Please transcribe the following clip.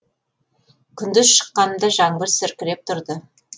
күндіз шыққанымда жаңбыр сіркіреп тұрды